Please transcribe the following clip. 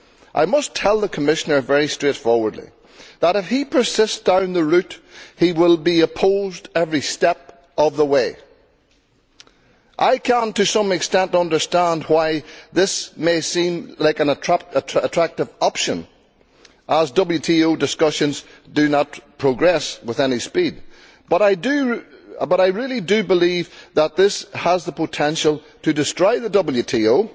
I must tell the Commissioner very straightforwardly that if he persists down this route he will be opposed every step of the way. I can to some extent understand why this may seem like an attractive option, as WTO discussions do not progress with any speed, but I really do believe that this has the potential to destroy the WTO.